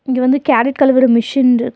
இங்க வந்து கேரட் கழுவுற மிஷின்ட்ருக் .